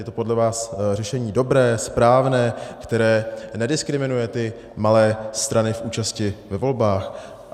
Je to podle vás řešení dobré, správné, které nediskriminuje ty malé strany v účasti ve volbách?